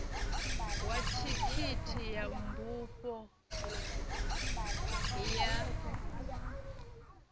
wa thikhithi ya bufho ya